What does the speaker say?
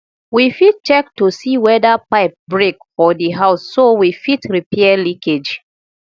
we fit check to see weda pipe break for the house so we fit repair leakage